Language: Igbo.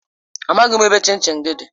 Amaghim ebe chin chin gi di.